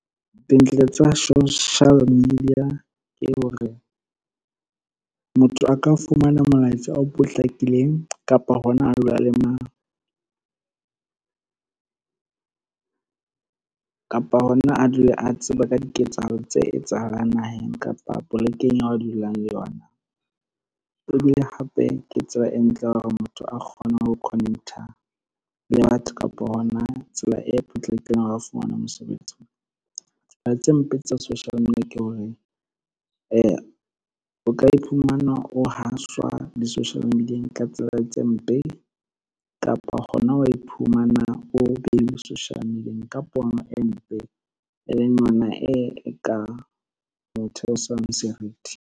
Dintle tsa social media ke hore, motho a ka fumana molaetsa o potlakileng kapa hona a dule a tseba ka diketsahalo tse etsahalang naheng kapa polekeng ya dulang le yona. Ebile hape ke tseba e ntle hore motho a kgone ho connect-a le batho kapa hona tsela e potlakileng hore a fumane mosebetsi. Tse mpe tsa social media ke hore, o ka iphumana o haswa di-social media-eng ka tsela tse mpe kapa hona wa iphumana o beilwe social media-eng ka pono e mpe, e leng yona e ka motho o senang serithi.